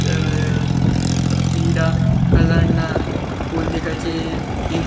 અય પીળા કલર ના ફુલ દેખાય છે એ--